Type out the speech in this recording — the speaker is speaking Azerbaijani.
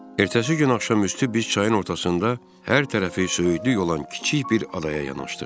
Ertəsi gün axşam üstü biz çayın ortasında hər tərəfi söyüdlük olan kiçik bir adaya yanaşdıq.